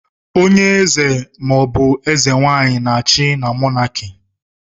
Onye eze ma ọ bụ eze nwaanyị na-achị na Mọnaki.